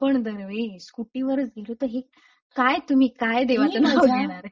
पण दरवेळी स्कूटी वरच गेलो तर हे काय तुम्ही काय देवाचे नाव घेणारे? मी मजा